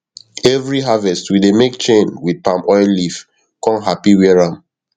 every harvest we dey make chain with palmoil leaf kon happy wear am